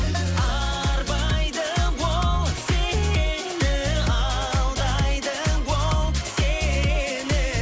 арбайды ол сені алдайды ол сені